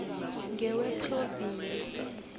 newephrovinsi